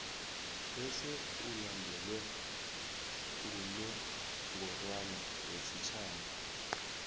bese ulandelwe ngunongorwana wesitjhaba